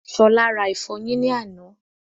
Ṣọlá rà ìfọyín ní àná